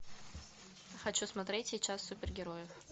хочу смотреть сейчас супергерои